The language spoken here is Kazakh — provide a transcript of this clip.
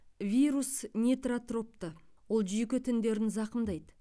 вирус нейтротропты ол жүйке тіндерін зақымдайды